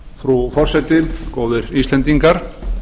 frú forseti góðir íslendingar